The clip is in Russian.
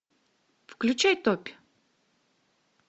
включай топь